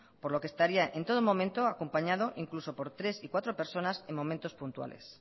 por lo que estaría en todo momento acompañado incluso por tres y cuatro personas en momentos puntuales